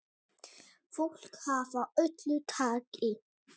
Fólk af öllu tagi.